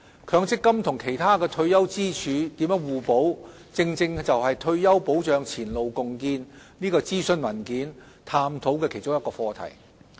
強積金與其他退休支柱如何互補，正正是《退休保障前路共建》諮詢文件探討的其中一個課題。